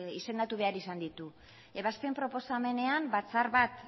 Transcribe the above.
izendatu behar izan ditu ebazpen proposamenean batzar bat